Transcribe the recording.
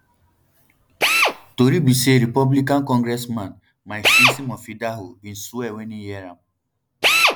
tori be say republican congressman mike simpson of idaho bin swear wen e hear am